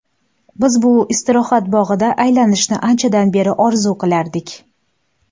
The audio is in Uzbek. Biz bu istirohat bog‘ida aylanishni anchadan beri orzu qilardik.